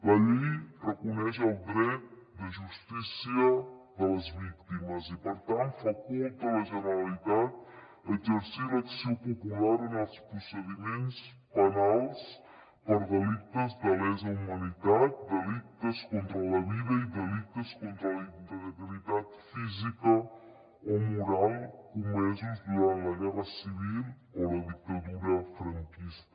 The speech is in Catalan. la llei reconeix el dret de justícia de les víctimes i per tant faculta la generalitat a exercir l’acció popular en els procediments penals per delictes de lesa humanitat delictes contra la vida i delictes contra la integritat física o moral comesos durant la guerra civil o la dictadura franquista